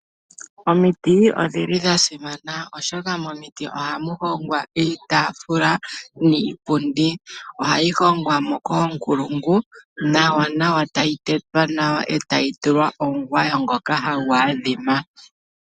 Omiti odhi li dha simana, oshoka momiti ohamu hongwa iitaafula niipundi. Ohayi hongwa mo koonkulungu nawanawa, tayi tetwa nawa, e tayi tulwa omugwayo ngoka hagu adhima.